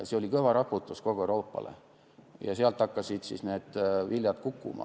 See oli kõva raputus kogu Euroopale ja sealt hakkasid need viljad kukkuma.